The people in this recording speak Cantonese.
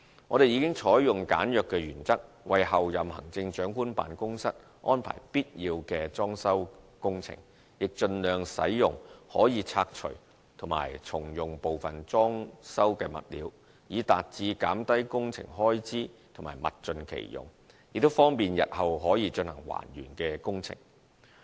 我們已採用簡約原則為候任行政長官辦公室安排必要的裝修工程，亦盡量使用可以拆除及重用部分裝修物料，以達至減低工程開支及物盡其用，亦方便日後可進行還原工程。